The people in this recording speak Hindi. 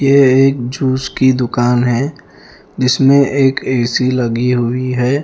यह एक जूस की दुकान है जिसमें एक एसी लगी हुई है।